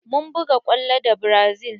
Mun buga kwallo da brazi